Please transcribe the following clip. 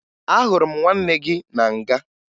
Ahụrụ m nwanne gị na nga